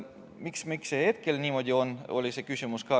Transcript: Miks see niimoodi on, oli küsimus.